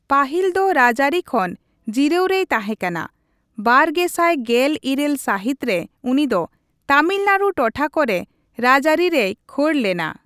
ᱯᱟᱹᱦᱤᱞ ᱫᱚ ᱨᱟᱡᱽᱟᱹᱨᱤ ᱠᱷᱚᱱ ᱡᱤᱨᱟᱹᱣ ᱨᱮᱭ ᱛᱟᱸᱦᱮ ᱠᱟᱱᱟ, ᱵᱟᱨᱜᱮᱥᱟᱭ ᱜᱮᱞ ᱤᱨᱟᱹᱞ ᱥᱟᱹᱦᱤᱛ ᱨᱮ ᱩᱱᱤ ᱫᱚ ᱛᱟᱢᱤᱞᱱᱟᱲᱩ ᱴᱚᱴᱷᱟ ᱠᱚᱨᱮ ᱨᱟᱡᱽᱟᱹᱨᱤ ᱨᱮᱭ ᱠᱷᱳᱲ ᱞᱮᱱᱟ ᱾